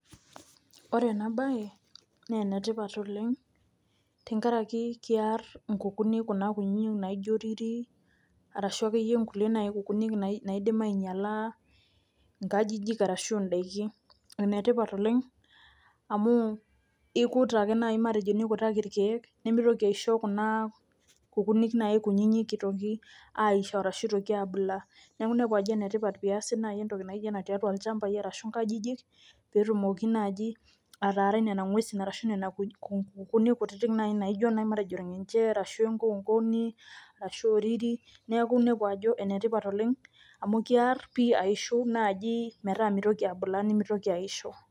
Wore enabaye, naa enetipat oleng' tenkaraki kiarr inkukuni kuna kutitik naijo rirri, arashu akeyie naai inkuti kukuuni naidim ainyiala inkajijik arashu indaikin. Ene tipat oleng' amu ikut ake naai matejo nikutaki irkiek nimitoki aisho kuna kukunik naai kunyinyik itoki aisho arashu aabulaa. Neeku iniepu ajo enetipat pee easi naji entoki naijo ena tiatua ilshambai arashu inkajijik, pee etumoki naaji ataarai niana ngwesin arashu niana kukuuni kutitik nai naijo matejo iengenje arashu enkoonkoni, arashu orriri, neeku iniepu ajo enetipat oleng' amu kearr pii aishu naaji metaa mitoki abulaa nimitoki aishoo.